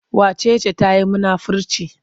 Wace ce ta yi munafirci?